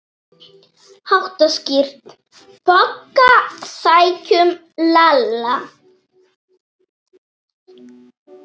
BOGGA: Sækjum Lalla!